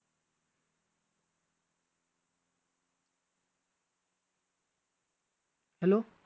Hello